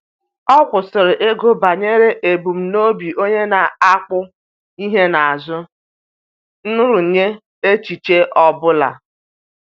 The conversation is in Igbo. Ọ kwụsịrị ịgụ banyere ebumnobi onye na-akpụ ihe n'azụ nrụnye echiche ọ bụla.